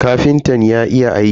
Kafintan ya iya aiki.